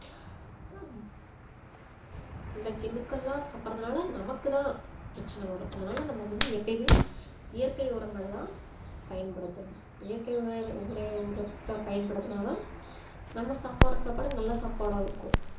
இந்த chemical லாம் சாப்பிடுறதுனால நமக்கு தான் பிரச்சனை வரும் அதனால நமக்கு வந்து எப்பயுமே இயற்கை உரங்கள தான் பயன்படுத்தனும் இயற்கை உரய~ உர~ உரத்தை பயன்படுத்தினா தான் நம்ம சாப்பிடுற சாப்பாடு நல்ல சாப்பாடா இருக்கும்